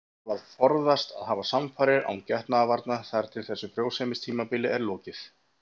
Síðan þarf að forðast að hafa samfarir án getnaðarvarna þar til þessu frjósemistímabili er lokið.